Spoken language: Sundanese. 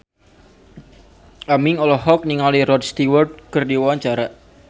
Aming olohok ningali Rod Stewart keur diwawancara